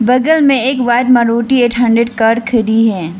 बगल में एक बार मारुति एट हंड्रेड कार खड़ी है।